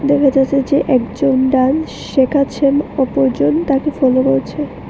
দেখা যাচ্ছে যে একজন ডান্স শেখাচ্ছেন অপরজন তাকে ফলো করছে।